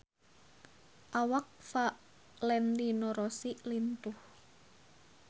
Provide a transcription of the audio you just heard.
Awak Valentino Rossi lintuh